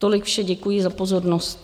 Tolik vše, děkuji za pozornost.